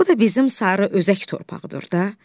Bu da bizim sarı özək torpağıdır da.